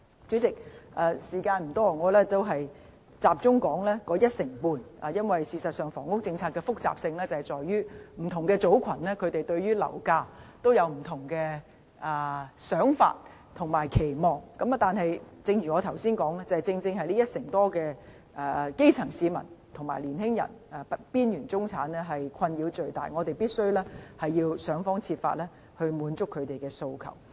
主席，時間所限，我想集中討論這一成半住戶，因為房屋政策的複雜性其實在於不同組群對樓價有不同想法或期望，但正如我剛才所說，正正是這一成多基層市民、青年人和邊緣中產人士的困擾最大，我們必須想方設法滿足他們的訴求。